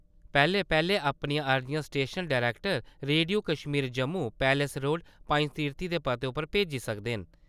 पैह्ले-पैह्ले अपनियां अर्जियां station director radio Kashmir Jammu , palace road , Panjtirthi दे पते उप्पर भेज्जी सकदे न ।